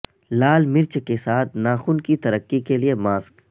لال مرچ کے ساتھ ناخن کی ترقی کے لئے ماسک